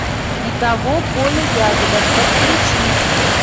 не того поля ягода подключи